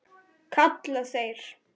kalla þeir.